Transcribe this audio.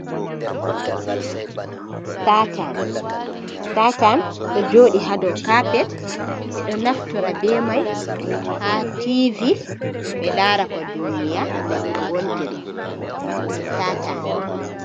Statan do jodi hadow kapet, be do naftora be mai ha tvi be lara ko duniya lesde wontiri statan.